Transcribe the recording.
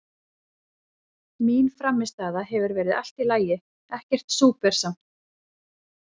Mín frammistaða hefur verið allt í lagi, ekkert súper samt.